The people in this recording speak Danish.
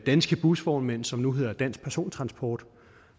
danske busvognmænd som nu hedder dansk persontransport